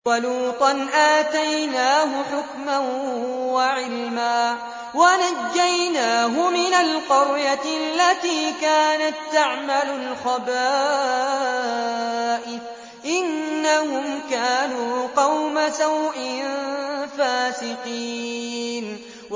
وَلُوطًا آتَيْنَاهُ حُكْمًا وَعِلْمًا وَنَجَّيْنَاهُ مِنَ الْقَرْيَةِ الَّتِي كَانَت تَّعْمَلُ الْخَبَائِثَ ۗ إِنَّهُمْ كَانُوا قَوْمَ سَوْءٍ فَاسِقِينَ